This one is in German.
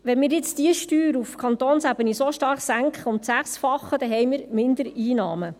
Wenn wir jetzt diese Steuer auf Kantonsebene so stark senken, um das Sechsfache, haben wir Mindereinnahmen.